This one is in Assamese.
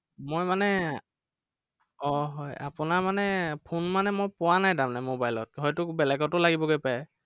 মই মানে আহ হয়। আপোনাৰ মানে phone মানে মই পোৱা নাই তাৰমানে mobile ত হয়তো বেলেগতো লাগিবগে পাৰে।